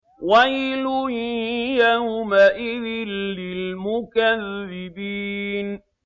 وَيْلٌ يَوْمَئِذٍ لِّلْمُكَذِّبِينَ